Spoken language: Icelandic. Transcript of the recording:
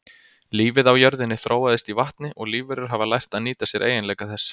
Lífið á jörðinni þróaðist í vatni og lífverur hafa lært að nýta sér eiginleika þess.